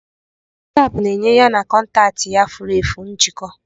Wasapu na-enye ya na kọntaktị ya furu efu njikọ.